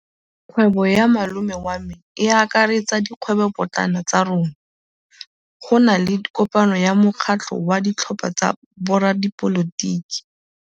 Kgwêbô ya malome wa me e akaretsa dikgwêbôpotlana tsa rona. Go na le kopanô ya mokgatlhô wa ditlhopha tsa boradipolotiki.